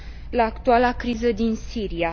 la actuala criză din Siria.